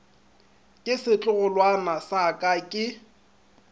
ke setlogolwana sa ka ke